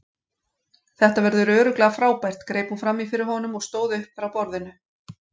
Þetta verður örugglega frábært greip hún fram í fyrir honum og stóð upp frá borðinu.